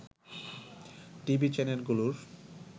TV চ্যানেলগুলোর